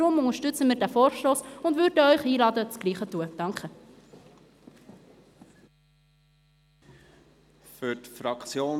Deshalb unterstützen wir diesen Vorstoss und würden Sie einladen, das Gleiche zu tun.